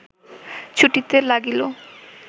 ছুটিতে লাগিল